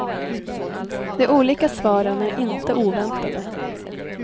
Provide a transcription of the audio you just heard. De olika svaren är inte oväntade.